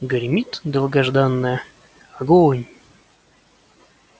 гремит долгожданное огонь